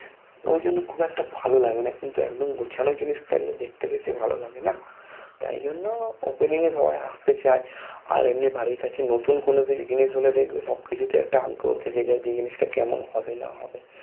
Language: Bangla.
ওই জন্য খুব একটা ভালো লাগেনা কিন্তু একদম গুছানো জিনিস তো দেখতে দেখতে ভালো লাগে না তাই জন্য Opening এ সবাই আসতে চায় আর এমনি বাড়ির কাছে নতুন কোনো জিনিস হলে দেখবে সব কিছুতে একটা আগ্রহ থেকে যায় যে জিনিসটা কেমন হবে না হবে